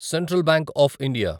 central bank of India